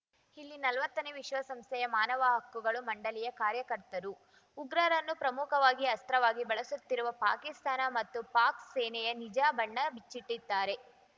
ಇಲ್ಲಿ ನಲ್ವತ್ತನೇ ವಿಶ್ವಸಂಸ್ಥೆಯ ಮಾನವ ಹಕ್ಕುಗಳು ಮಂಡಳಿಯ ಕಾರ್ಯಕರ್ತರು ಉಗ್ರರನ್ನು ಪ್ರಮುಖವಾಗಿ ಅಸ್ತ್ರವಾಗಿ ಬಳಸುತ್ತಿರುವ ಪಾಕಿಸ್ತಾನ ಮತ್ತು ಪಾಕ್ ಸೇನೆಯ ನಿಜ ಬಣ್ಣ ಬಿಚ್ಚಿಟ್ಟಿದ್ದಾರೆ